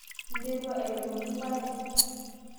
interua airemoki ilpaek?